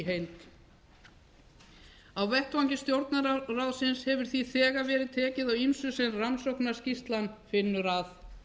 heild á vettvangi stjórnarráðsins hefur því þegar verið ekki á ýmsu sem rannsóknarskýrslan finnur að